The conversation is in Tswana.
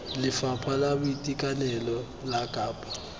lefapha la boitekanelo la kapa